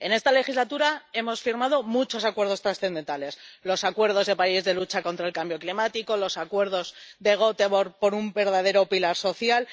En esta legislatura hemos firmado muchos acuerdos trascendentales el Acuerdo de París de lucha contra el cambio climático, los acuerdos de Gotemburgo por un verdadero pilar social